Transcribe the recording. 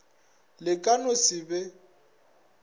le ka no se be